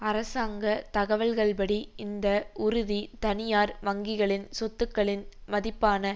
அரசாங்க தகவல்கள்படி இந்த உறுதி தனியார் வங்கிகளின் சொத்துக்களின் மதிப்பான